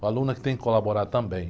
O aluno é que tem que colaborar também.